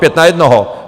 Pět na jednoho.